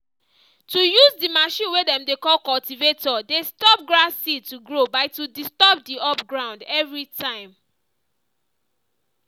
to use the machine way dem dey call cultivator dey stop grass seed to grow by to disturb the up ground every time.